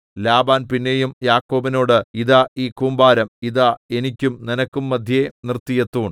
Laban പിന്നെയും യാക്കോബിനോട് ഇതാ ഈ കൂമ്പാരം ഇതാ എനിക്കും നിനക്കും മദ്ധ്യേ നിർത്തിയ തൂൺ